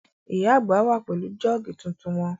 Ìyá àgbà wà pẹ̀lú jọ́ọ̀gì tuntun wọn